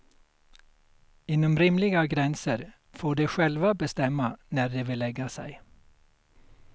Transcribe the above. Inom rimliga gränser får de själva bestämma när de vill lägga sig.